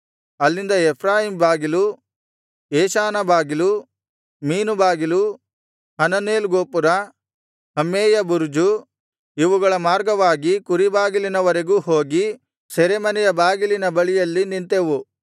ಅಲ್ಲಿಂದ ಎಫ್ರಾಯೀಮ್ ಬಾಗಿಲು ಯೆಷಾನಾ ಬಾಗಿಲು ಮೀನು ಬಾಗಿಲು ಹನನೇಲ್ ಗೋಪುರ ಹಮ್ಮೇಯಾ ಬುರುಜು ಇವುಗಳ ಮಾರ್ಗವಾಗಿ ಕುರಿ ಬಾಗಿಲಿನವರೆಗೂ ಹೋಗಿ ಸೆರೆಮನೆಯ ಬಾಗಿಲಿನ ಬಳಿಯಲ್ಲಿ ನಿಂತೆವು